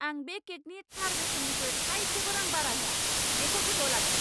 आं बे केकनि थार बेसेननिख्रुइ थायसेबो रां बारा होआ। बेखौ गोसोआव लाखि!